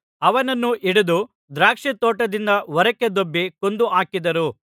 ಅವನನ್ನು ಹಿಡಿದು ದ್ರಾಕ್ಷಾತೋಟದಿಂದ ಹೊರಕ್ಕೆ ದೊಬ್ಬಿ ಕೊಂದು ಹಾಕಿದರು